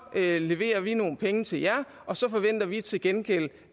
leverer vi nogle penge til jer og så forventer vi til gengæld